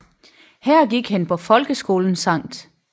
Her gik han på folkeskolen Sct